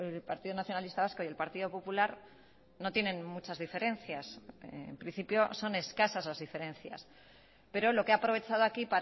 el partido nacionalista vasco y el partido popular no tienen muchas diferencias en principio son escasas las diferencias pero lo que ha aprovechado aquí